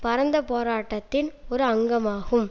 பரந்த போராட்டத்தின் ஒரு அங்கமாகும்